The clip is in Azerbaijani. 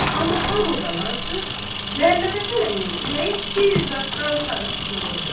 Amma hamıdan artıq Məmmədhəsən əminin ürəyi bir zadıdan sarı sıxılırdı.